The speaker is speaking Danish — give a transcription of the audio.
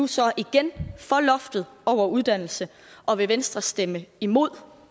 så nu igen for loftet over uddannelse og vil venstre stemme imod